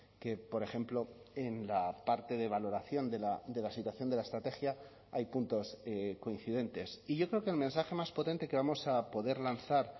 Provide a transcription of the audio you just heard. que por ejemplo en la parte de valoración de la situación de la estrategia hay puntos coincidentes y yo creo que el mensaje más potente que vamos a poder lanzar